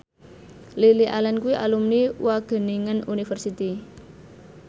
Lily Allen kuwi alumni Wageningen University